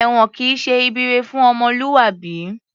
Èwọ̀n kìí ṣe ibi ire fún ọmọlúwàbí